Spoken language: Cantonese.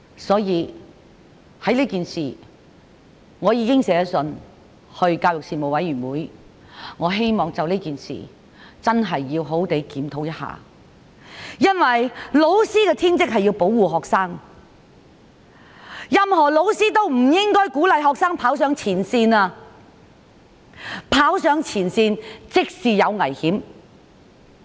所以，我已去信教育事務委員會，希望認真檢討這件事，因為老師的天職是要保護學生，任何老師也不應鼓勵學生跑上前線，跑上前線便會有危險。